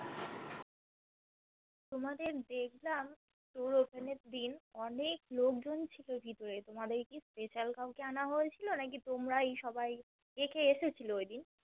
তোমাদের দেখলাম StoreOpen এর দিন অনেক লোকজন ছিল ভিতরে তোমাদের কি Special কাউকে আনা হয়েছিল নাকি তোমরাই সবাই কে কে এসেছিলো ঐদিন